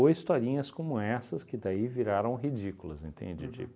Ou historinhas como essas, que daí viraram ridículas, entende? De